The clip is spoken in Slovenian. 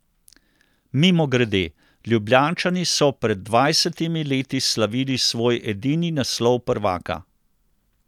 Mimogrede, Ljubljančani so pred dvajsetimi leti slavili svoj edini naslov prvaka.